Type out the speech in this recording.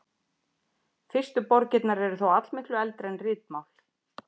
Fyrstu borgirnar eru þó allmiklu eldri en ritmál.